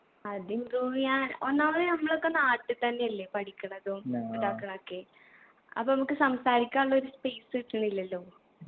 അത് improve എയ്യാൻ ഒന്നാമത് നമ്മളൊക്കെ നാട്ടി തന്നെയല്ലേ പഠിക്ക്ണതും ഇതാക്ക്ണതും ഒക്കെ അപ്പൊ നമ്മക്ക് സംസാരിക്കാനുള്ള ഒരു space കിട്ടുന്നില്ലല്ലോ